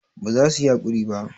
ba za su yi hakuri ba